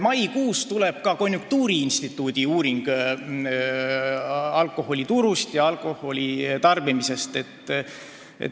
Maikuus selguvad konjunktuuriinstituudi uuringu tulemused, seegi on alkoholituru ja alkoholi tarbimise kohta.